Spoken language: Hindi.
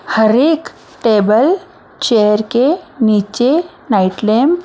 हर एक टेबल चेयर के नीचे नाइट लैंप --